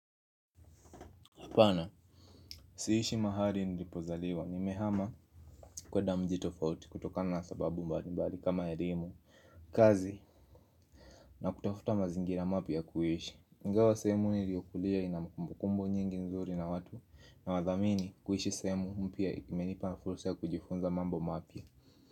Hapana, siishi mahali nilipozaliwa, nimehama kwanda mji tofauti kutokana na sababu mbali mbali kama elimu, kazi na kutafuta mazingira mapya ya kuishi. Ingawa sehemu niliyokulia ina kumbukumbu nyingi nzuri na watu nawadhamini kuishi sehemu mpya imenipa na fursa ya kujifunza mambo mapya.